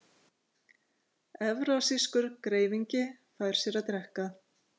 Evrasískur greifingi fær sér að drekka.